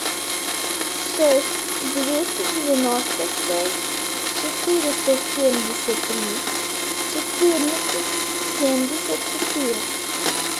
шесть двести девяносто шесть четыреста семьдесят три четырнадцать семьдесят четыре